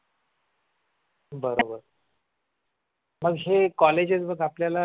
बरोबर मग हे बघ कॉलेजस आपल्याला